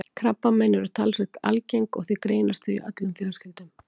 Krabbamein eru talsvert algeng og því greinast þau í öllum fjölskyldum.